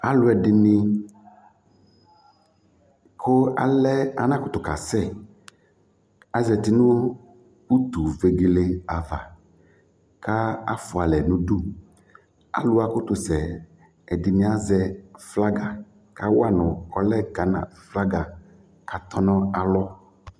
Alʋ ɛdɩnɩ kʋ alɛ anakʋtʋkasɛ azati nʋ utuvegele ava kʋ afʋa alɛ nʋ udu Alʋ wa akʋtʋsɛ yɛ, ɛdɩnɩ azɛ flaga kʋ awa nʋ ɔlɛ Gana flaga kʋ atɔ nʋ alɔ